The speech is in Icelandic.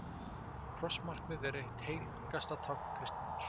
Krossmarkið er eitt helgasta tákn kristninnar.